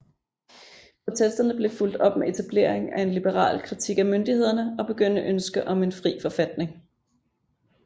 Protesterne blev fulgt op med etableringen af en liberal kritik af myndighederne og begyndende ønske om en fri forfatning